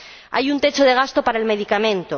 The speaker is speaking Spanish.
Hay un techo de gasto para el medicamento.